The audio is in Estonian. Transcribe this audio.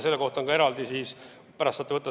Selle kohta on eraldi.